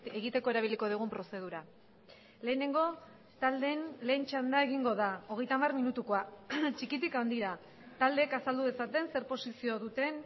egiteko erabiliko dugun prozedura lehenengo taldeen lehen txanda egingo da hogeita hamar minutukoa txikitik handira taldeek azaldu dezaten zer posizio duten